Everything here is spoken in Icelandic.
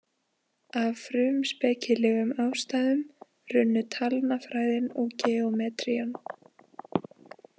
Af frumspekilegum ástæðum runnu talnafræðin og geometrían.